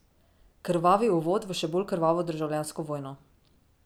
Krvavi uvod v še bolj krvavo državljansko vojno.